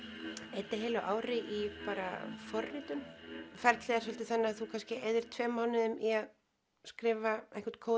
eyddi heilu ári í bara forritun ferlið er svolítið þannig að þú kannski eyðir tveimur mánuðum í að skrifa einhvern kóða